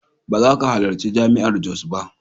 Ba za ka halarci Jami'ar Jos ba.